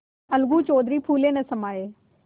अलगू चौधरी फूले न समाये